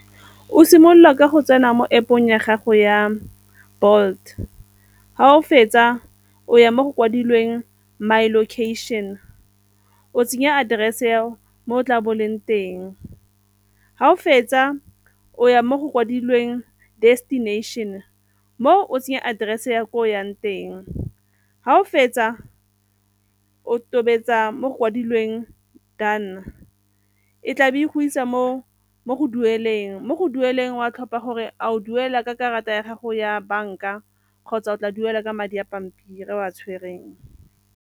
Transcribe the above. O simolola ka go tsena mo App-ong ya gago ya Bolt, ga o fetsa o ya mo go kwadilweng my location, o tsenya address ya mo o tla bo o leng teng. Ga o fetsa o ya mo go kwadilweng destination, mo o tsenya address ya ko o yang teng. Ga o fetsa o tobetsa mo go kwadilweng done, e tlabe go isa mo dueleng. Mo go dueleng o a tlhopa gore a o duela ka karata ya gago ya banka kgotsa o tla duela ka madi a pampiri a o a tshwereng.